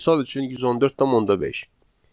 Misal üçün 114.5.